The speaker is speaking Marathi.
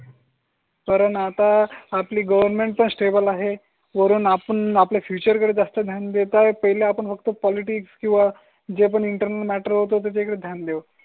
कारण आता आपली गवर्नमेंट पण स्टेबल आहे. वरून आपण आपल्या फ्यूचर कडे जास्त ध्यान देत आहे. पहिले आपण फक्त पॉलिटिक्स किंवा जे पण इंटरनल मॅटर होतो त्याचे ध्यान देऊ.